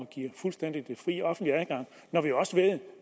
give fuldstændig fri offentlig adgang når vi også ved